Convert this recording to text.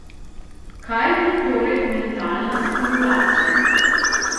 Kaj je torej mentalna stimulacija?